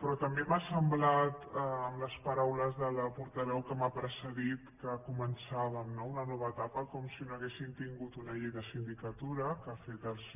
però també m’ha semblat per les paraules de la portaveu que m’ha precedit que començàvem no una nova etapa com si no haguéssim tingut una llei de sindicatura que ha fet les